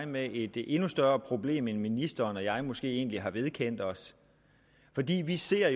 med et endnu større problem end ministeren og jeg måske egentlig har vedkendt os vi ser